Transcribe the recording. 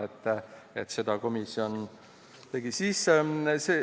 Need muudatusettepanekud komisjon ka tegi.